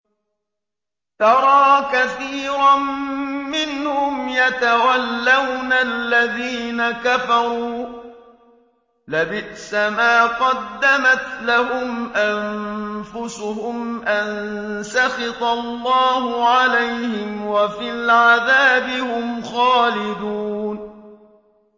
تَرَىٰ كَثِيرًا مِّنْهُمْ يَتَوَلَّوْنَ الَّذِينَ كَفَرُوا ۚ لَبِئْسَ مَا قَدَّمَتْ لَهُمْ أَنفُسُهُمْ أَن سَخِطَ اللَّهُ عَلَيْهِمْ وَفِي الْعَذَابِ هُمْ خَالِدُونَ